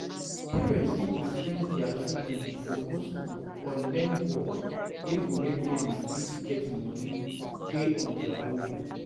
Parent fit influence their children to go school or learn work wey go make dem fit get money dey on their own